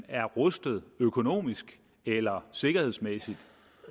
er rustet økonomisk eller sikkerhedsmæssigt